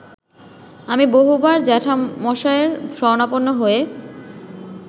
আমি বহুবার জ্যাঠামশায়ের শরণাপন্ন হয়ে